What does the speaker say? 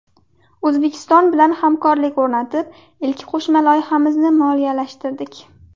O‘zbekiston bilan hamkorlik o‘rnatib, ilk qo‘shma loyihamizni moliyalashtirdik.